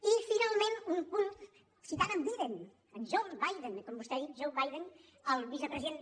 i finalment un punt citant en biden en john biden com vostè ha dit john biden el vicepresident